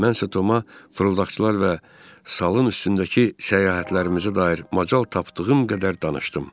Mən isə Toma fırıldaqçılar və salın üstündəki səyahətlərimizə dair macal tapdığım qədər danışdım.